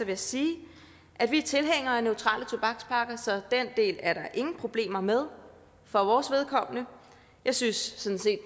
jeg sige at vi er tilhængere af neutrale tobakspakker så den del er der ingen problemer med for vores vedkommende jeg synes sådan set